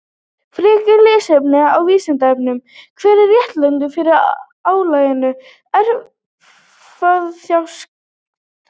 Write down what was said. Frekara lesefni á Vísindavefnum: Hver er réttlætingin fyrir álagningu erfðafjárskatts?